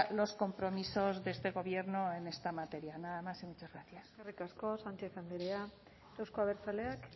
los compromisos de este gobierno en esta materia nada más y muchas gracias eskerrik asko sánchez andrea euzko abertzaleak